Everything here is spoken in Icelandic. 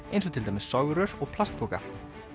eins og til dæmis og plastpoka